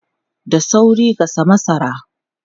Da sauri gasa masara!